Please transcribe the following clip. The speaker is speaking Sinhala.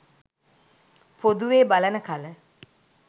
පොදුවේ බලන කල